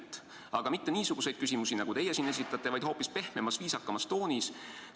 Aga ta ei esitanud mitte niisuguseid küsimusi, nagu teie siin ütlete, vaid ta tegi seda kõike hoopis pehmemas, viisakamas toonis.